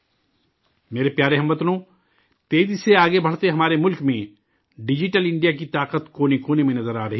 میرے پیارے ہم وطنو، تیزی سے آگے بڑھتے ہمارے ملک میں ڈیجیٹل انڈیا کی طاقت کونے کونے میں دکھائی دے رہی ہے